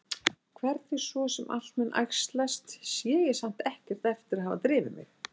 Hvernig svo sem allt mun æxlast sé ég samt ekkert eftir að hafa drifið mig.